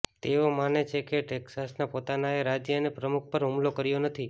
તેઓ માને છે કે ટેક્સાસના પોતાનાએ રાજ્ય અને પ્રમુખ પર હુમલો કર્યો નથી